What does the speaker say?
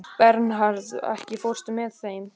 Bernharð, ekki fórstu með þeim?